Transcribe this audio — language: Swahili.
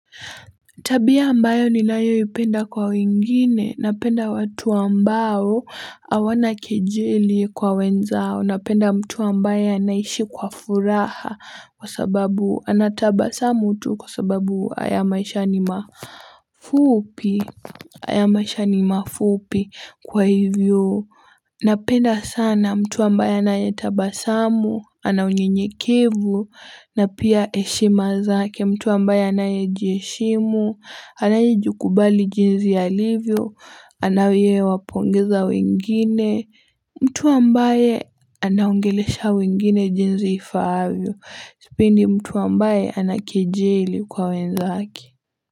Tabia ambayo ninayoipenda kwa wengine, napenda watu ambao awana kejeli kwa wenzao, napenda mtu ambaye anaishi kwa furaha kwa sababu ana tabasamu tu kwa sababu aya maisha ni mafupi, ayamashani mafupi kwa hivyo. Napenda sana mtu ambaye anayetabasamu, ana unyenyekevu, na pia eshima zake mtu ambaye anayejieshimu, anayejikubali jinzi alivyo, anayewapongeza wengine, mtu ambaye anaongelesha wengine jinzi ifaavyo, sipendi mtu ambaye anakejeli kwa wenzake.